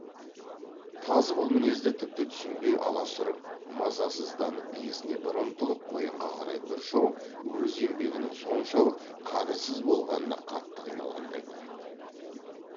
тазы бұл мінезді тіпті түсінбей аласұрып мазасызданып иесіне бір ұмтылып қоянға қарай бір шауып өз еңбегінің соншалық қадірсіз болғанына қатты қиналғандай болады